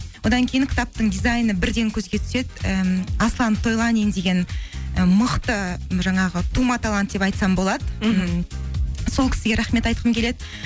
одан кейін кітаптың дизайны бірден көзге түседі і аслан тойланин деген і мықты жаңағы тума талант деп айтсам болады сол кісіге рахмет айтқым келеді